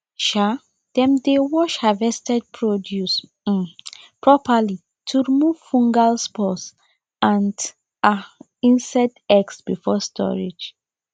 um dem dey wash harvested produce um properly to remove fungal spores and um insect eggs before storage